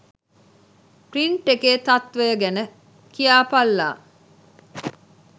Print එකේ තත්ත්වය ගැන කියාපල්ලා.